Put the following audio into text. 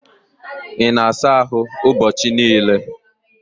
Ị na-asa ahụ ụbọchị niile?